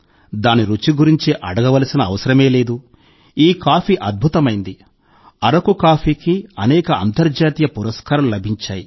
దాని రుచి గురించి అడగవలసిన అవసరమే లేదు ఈ కాఫీ అద్భుతమైంది అరకు కాఫీకి అనేక అంతర్జాతీయ పురస్కారాలు లభించాయి